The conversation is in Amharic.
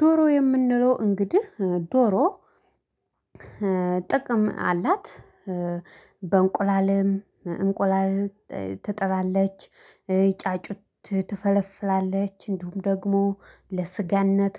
ዶሮ የምንላት እንግዲህ ዶሮ ጥቅም አላት፤ በእንቁላልም እንቁላል ትጥላለች፣ ጫጩት ትፈለፍላለች፣ እንዲሁም ደግሞ ለሥጋነት፣